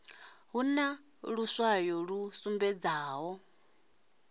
hu na luswayo lu sumbedzaho